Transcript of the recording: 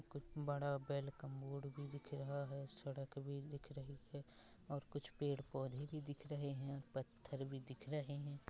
कुछ बड़ा बैल का मोड भी दिखे रहा है। सड़क भी दिख रही हे ओर कुछ पेड़ पोधे भी दिख रहे हे और पत्थर भी दिख रहे हे।